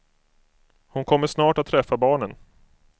Hon kommer snart att träffa barnen.